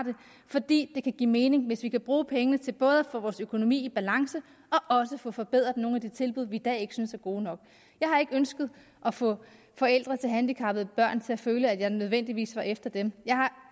for det kan give mening hvis vi kan bruge pengene til både at få vores økonomi i balance og få forbedret nogle af de tilbud vi i dag ikke synes er gode nok jeg har ikke ønsket at få forældre til handicappede børn til at føle at jeg nødvendigvis var efter dem jeg har